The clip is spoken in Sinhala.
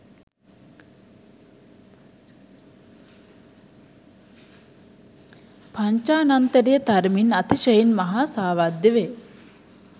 පංචානන්තරිය තරමින් අතිශයින් මහා සාවද්‍ය වේ.